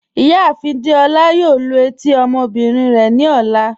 Ìyáàfin Dèolá yóò lú etí ọmọbìnrin rẹ ni ọlá.